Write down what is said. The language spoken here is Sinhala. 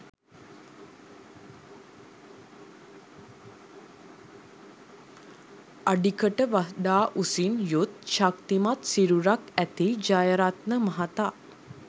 අඩිකට වඩා උසින් යුත් ශක්‌තිමත් සිරුරක්‌ ඇති ජයරත්න මහතා